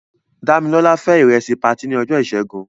Dámilọ́lá fé ìrẹsì patí ní ọjọ́ ìṣẹ́gun.